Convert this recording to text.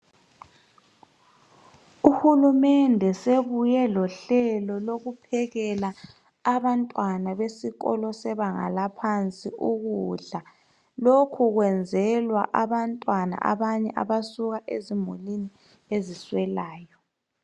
UHulumende sebuye lohlelo lokuphekela abantwana besikolo sebanga laphansi ukudla. Lokhu kwenzelwa abantwana abanye abasuka ezimulini eziswelayo.